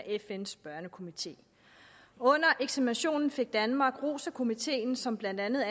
fns børnekomité under eksaminationen fik danmark ros af komiteen som blandt andet